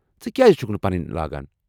ژٕ کیٛازِ چھُکھ نہٕ پنٕنۍ لاگان ؟